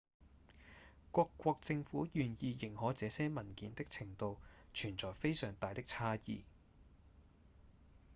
各國政府願意認可這些文件的程度存在非常大的差異